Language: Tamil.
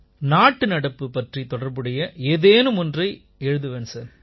நாட்டுநடப்பு பற்றித் தொடர்புடைய ஏதேனும் ஒன்றைப் பற்றி எழுதுவேன் சார்